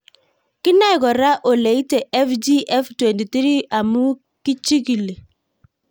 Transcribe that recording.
Kinae kora ole ite FGF23 amu kichigili